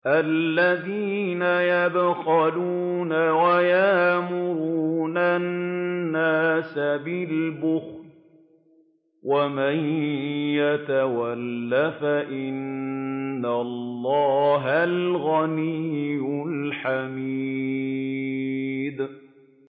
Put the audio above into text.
الَّذِينَ يَبْخَلُونَ وَيَأْمُرُونَ النَّاسَ بِالْبُخْلِ ۗ وَمَن يَتَوَلَّ فَإِنَّ اللَّهَ هُوَ الْغَنِيُّ الْحَمِيدُ